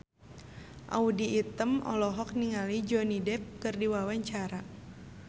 Audy Item olohok ningali Johnny Depp keur diwawancara